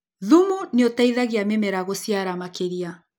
Thumu nĩũteithagia mĩmera gũciara makĩria.